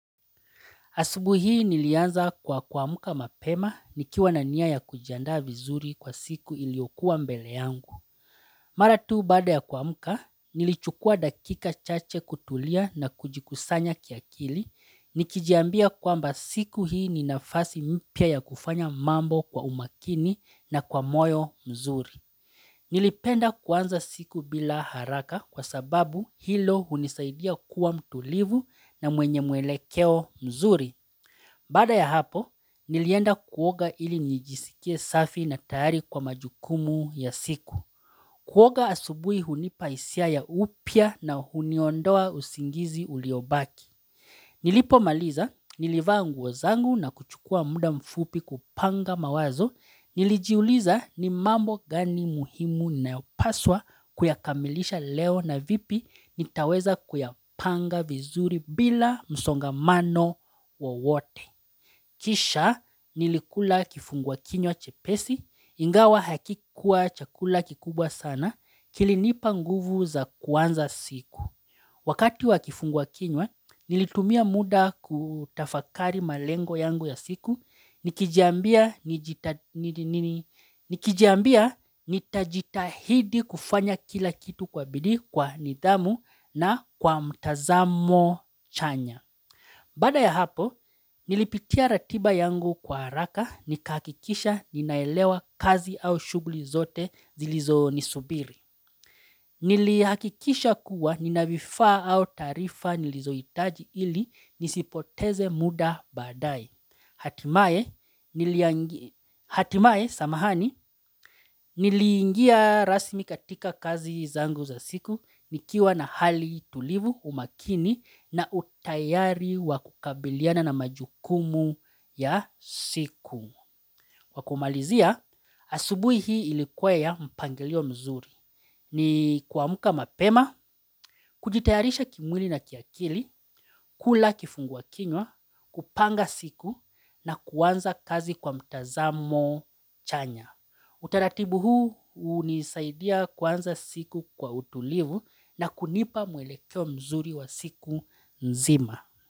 Asubuhi hii nilianza kwa kuamka mapema nikiwa na nia ya kujianda vizuri kwa siku iliokuwa mbele yangu. Mara tu baada ya kuamka nilichukua dakika chache kutulia na kujikusanya kiakili. Nikijiambia kwamba siku hii ni nafasi mpya ya kufanya mambo kwa umakini na kwa moyo mzuri. Nilipenda kuanza siku bila haraka kwa sababu hilo hunisaidia kwa mtulivu na mwenye mwelekeo mzuri. Baada ya hapo, nilienda kuoga ili njijisikie safi na tayari kwa majukumu ya siku. Kuoga asubui hunipa hisia ya upya na huniondoa usingizi uliobaki. Nilipomaliza, nilivaa zangu na kuchukua muda mfupi kupanga mawazo. Nilijiuliza ni mambo gani muhimu ninayopaswa kuyakamilisha leo na vipi nitaweza kuyapanga vizuri bila msongamano wowote. Kisha nilikula kifungua kinya chepesi, ingawa hakikuwa chakula kikubwa sana, kilinipa nguvu za kuanza siku. Wakati wa kifungua kinywa, nilitumia muda kutafakari malengo yangu ya siku, nikijiambia nitajitahidi kufanya kila kitu kwa bidii kwa nidhamu na kwa mtazamo chanya. Baada ya hapo, nilipitia ratiba yangu kwa haraka nikahakikisha ninaelewa kazi au shughuli zote zilizo nisubiri. Nili hakikisha kuwa nina vifaa au taarifa nilizohitaji ili nisipoteze muda badae. Hatimaye samahani niliingia rasmi katika kazi zangu za siku nikiwa na hali tulivu umakini na utayari wa kukabiliana na majukumu ya siku. Kwa kumalizia, asubuhi hii ilikuwa ya mpangilio mzuri ni kuamka mapema, kujitayarisha kimwili na kiakili, kula kifungua kinywa, kupanga siku na kuanza kazi kwa mtazamo chanya. Utaratibu huu hunisaidia kuanza siku kwa utulivu na kunipa mwelekeo mzuri wa siku mzima.